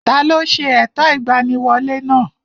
Taló ṣe ẹ̀tọ́ ìgbaniwolẹ́ náà?